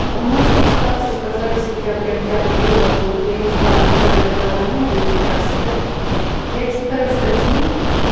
румынские старцы сказали сентябрь октябрь голод будет я не знаю они сказали про румынию или про всех я читаю статьи